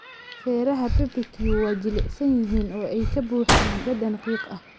Feeraha barbecue waa jilicsan yihiin oo ay ka buuxaan dhadhan qiiq ah.